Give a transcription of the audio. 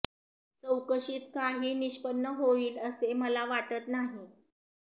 चौकशीत काही निष्पन्न होईल असे मला वाटत नाही